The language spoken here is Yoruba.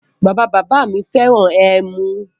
Bàbá bàbá mi fẹ́ràn ẹmu